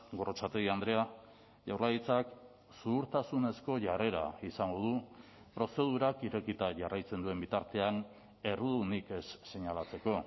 gorrotxategi andrea jaurlaritzak zuhurtasunezko jarrera izango du prozedurak irekita jarraitzen duen bitartean errudunik ez seinalatzeko